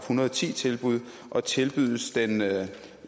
hundrede og ti tilbud og tilbydes den